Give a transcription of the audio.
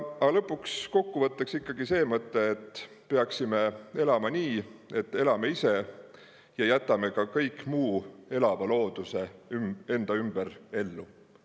Aga kokkuvõtteks ikkagi see mõte, et me peaksime elama nii, et elame ise ja jätame ka kogu muu elava looduse enda ümber ellu.